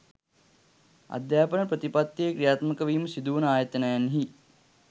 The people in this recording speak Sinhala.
අධ්‍යාපන ප්‍රතිපත්තිය ක්‍රියාත්මක වීම සිදුවන ආයතනයන්හි